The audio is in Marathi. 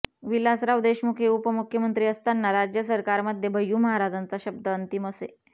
विलासराव देशमुख हे मुख्यमंत्री असताना राज्य सरकारमध्ये भय्यू महाराजांचा शब्द अंतिम असे